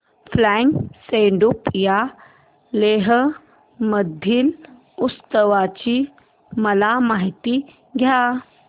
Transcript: फ्यांग सेडुप या लेह मधील उत्सवाची मला माहिती द्या